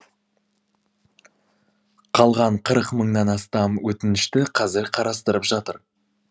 қалған қырық мыңнан астам өтінішті қазір қарастырып жатыр